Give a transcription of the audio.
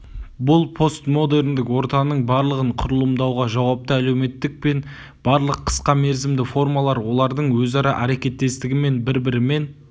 бұл постмодерндік ортаның барлығын құрылымдауға жауапты әлеуметтілік пен барлық қысқа мерзімді формалар олардың өзара әрекеттестігі мен бір-бірімен